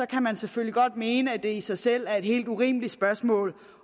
kan man selvfølgelig godt mene at det i sig selv er et helt urimeligt spørgsmål